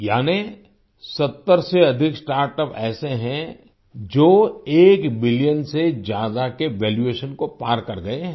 यानि 70 से अधिक स्टार्टअप ऐसे हैं जो 1 बिलियन से ज्यादा के वैल्यूएशन को पार कर गए हैं